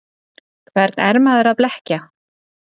Hvern er maður að blekkja?